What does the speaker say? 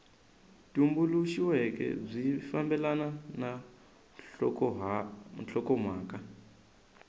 tumbuluxiweke byi fambelana na nhlokomhaka